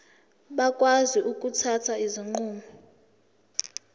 bakwazi ukuthatha izinqumo